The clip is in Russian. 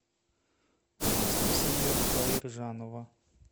анастасия хаиржанова